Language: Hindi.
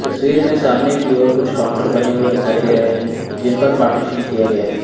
तस्वीर में सामने की और कुछ काउंटर बने हुए दिखाई दे रहे हैं जिन पर पार्टीशन किया गया है।